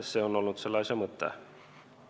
See on olnud selle asja mõte.